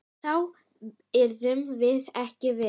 Þá yrðum við ekki við.